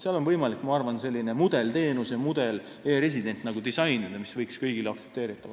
Seal on võimalik disainida selline mudelteenus ja mudel-e-resident, mis võiks olla kõigile aktsepteeritav.